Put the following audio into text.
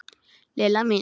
Lilla mín.